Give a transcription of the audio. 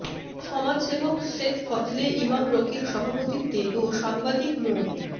সমাজসেবক শেখ ফজলে ইমাম রকির সভাপতিত্বে ও সাংবাদিক মো